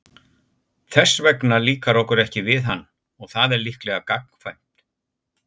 Þess vegna líkar okkur ekki við hann og það er líklega gagnkvæmt.